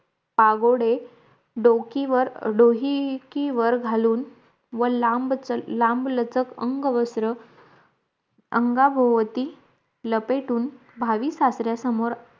पागोडे डोकीवर डोहकीवर घालून व लांब चल लांबलचक अंग वस्त्र अंगाभोवती लपेटून भावी सासऱ्या समोर